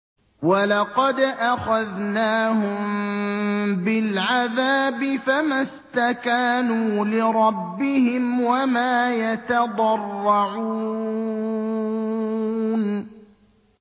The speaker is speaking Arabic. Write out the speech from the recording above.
وَلَقَدْ أَخَذْنَاهُم بِالْعَذَابِ فَمَا اسْتَكَانُوا لِرَبِّهِمْ وَمَا يَتَضَرَّعُونَ